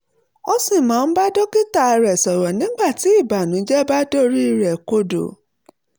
ó sì máa ń bá dókítà rẹ̀ sọ̀rọ̀ nígbà tí ìbànújẹ́ bá dorí rẹ̀ kodò